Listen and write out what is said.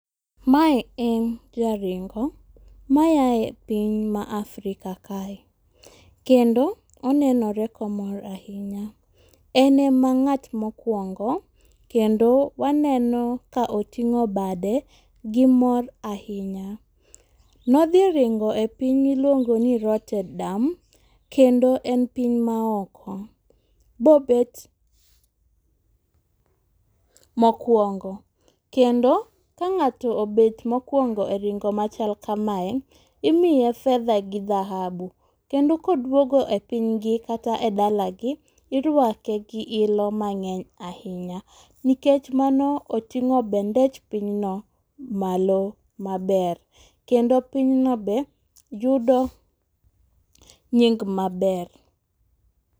Mae en jaringo mayae piny mar Africa kae. Kendo onenore ka omor ahinya. En ema ng'at mokwongo, kendo waneno ka oting'o bade gi mor ahinya. Nodhi ringo e piny ma iluongo ni Rotterdam, kendo en piny maoko. Bobet mokwongo. Kendo ka ng'ato obet mokwongo e ringo machal kamae, imiye fedha gi dhahabu. Kendo koduogo e piny gi, kata e dala gi, irwake gi ilo mang'eny ahinya. Nikech mano oting'o bendech pinyno malo maber. Kendo piny no be yudo nying maber.